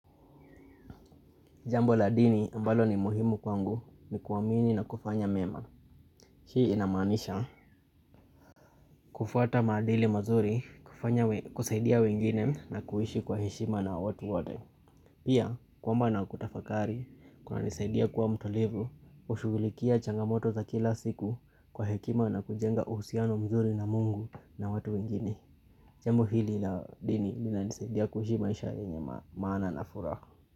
Jambo la dini ambalo ni muhimu kwangu ni kuwamini na kufanya mema. Hii inamaanisha kufata madili mazuri kufanya kusaidia wengine na kuhishi kwa heshima na watu wote. Pia kwamba na kutafakari kuna nisaidia kwa mtulivu ushugulikia changamoto za kila siku kwa hekima na kujenga uhsiano mzuri na mungu na watu wengine. Jambo hili la dini nina nisaidia kuhishi maisha yenye maana na furaha.